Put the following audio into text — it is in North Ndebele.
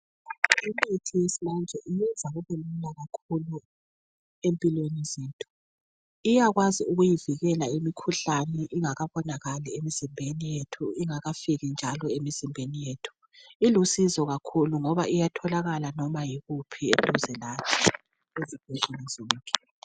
Imithi yesimanje ikwenza kubelula kakhulu empilweni zethu. Iyakwazi ukuyivikela imikhuhlane, ingakabonakali emizimbeni yethu. ingakafiki njalo emzimbeni yethu. Ilusizo kakhulu, ngoba iyatholakala noba kukuphi eduze lathi.